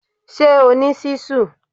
Ṣé o ní ṣíṣù?